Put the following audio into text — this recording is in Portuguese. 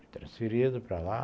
Fui transferido para lá.